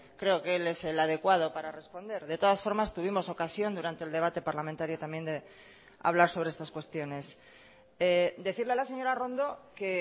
creo que él es el adecuado para responder de todas formas tuvimos ocasión durante el debate parlamentario también de hablar sobre estas cuestiones decirle a la señora arrondo que